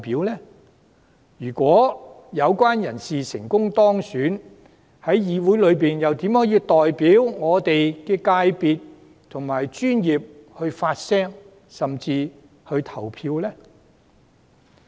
即使這些人士成功當選，又如何能在立法會中代表我們的業界發聲及投票？